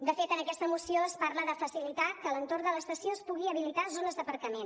de fet en aquesta moció es parla de facilitar que a l’entorn de l’estació es pugui habilitar zones d’aparcament